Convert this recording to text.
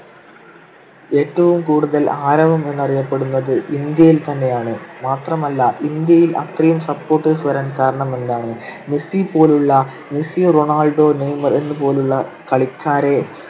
ഏറ്റവും കൂടുതൽ ആരവം എന്നറിയപ്പെടുന്നത് ഇന്ത്യയിൽ തന്നെയാണ്. മാത്രമല്ല, ഇന്ത്യയിൽ അത്രയും supporters വരാൻ കാരണമെന്താണ്. മെസ്സി പോലുള്ള മെസ്സി, റൊണാൾഡോ, നെയ്‌മർ എന്ന് പോലുള്ള കളിക്കാരെ